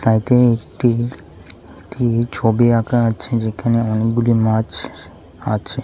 সাইডে একটি একটি ছবি আঁকা আছে যেখানে অনেকগুলি মাছ আছে।